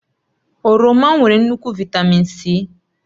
Oroma nwere nnukwu Vị́tamị́n C